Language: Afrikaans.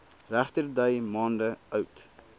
regterdy maande oud